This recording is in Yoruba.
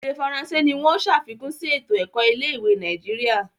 Ede faransé ní wón ṣàfikún sí eto-ẹkọ ilé-ìwé Nàìjíríà.